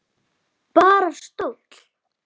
Bara stóll!